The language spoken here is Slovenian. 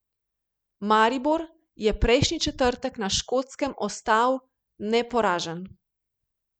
Maribor je prejšnji četrtek na Škotskem ostal neporažen.